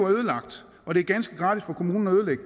ødelagt og det er ganske gratis for kommunen at ødelægge